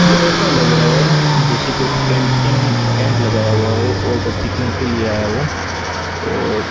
ये ऐसा लग रहा है जैसे कि कैंपिंग टेंट लगाया हुआ हो और कोई पिकनिक के लिए आया हो और --